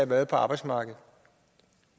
været på arbejdsmarkedet